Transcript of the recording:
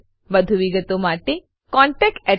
વધુ વિગતો માટે કૃપા કરી contactspoken tutorialorg પર લખો